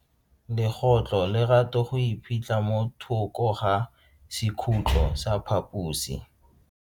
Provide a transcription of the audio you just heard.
Legotlo le rata go iphitlha mo thoko ga sekhutlo sa phaposi.